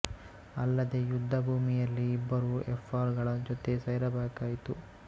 ಅಲ್ಲದೇ ಯುದ್ಧ ಭೂಮಿಯಲ್ಲಿ ಇಬ್ಬರು ಎಫರ್ ಗಳ ಜೊತೆ ಸೇರಬೇಕಾಯಿತು